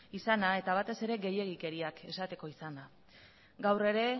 izana eta batez ere gehiegikeriak esateko izana gaur ere